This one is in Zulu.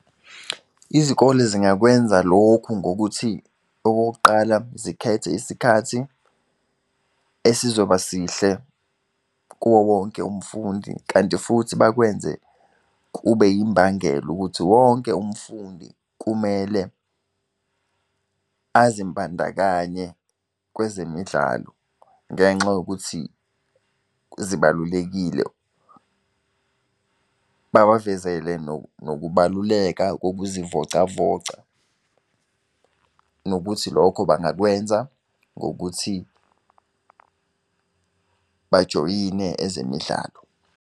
Izikole zingakwenza lokhu ngokuthi okokuqala, zikhethe isikhathi esizoba sihle kuwowonke umfundi, kanti futhi bakwenze kube yimbangela ukuthi wonke umfundi kumele azimbandakanye kwezemidlalo, ngenxa yokuthi zibalulekile. Babavezele nokubaluleka kokuzivocavoca. Nokuthi lokho bangakwenza ngokuthi bajoyine ezemidlalo.